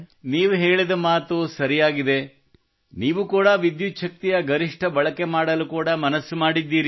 ನೀವು ಹೇಳಿದ ಮಾತು ಸರಿಯಾಗಿದೆ ನೀವೂ ಕೂಡ ವಿದ್ಯುಚ್ಛಕ್ತಿಯ ಗರಿಷ್ಠ ಬಳಕೆ ಮಾಡಲು ಕೂಡಾ ಮನಸ್ಸು ಮಾಡಿದ್ದೀರಿ